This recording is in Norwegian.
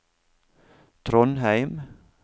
Trondheim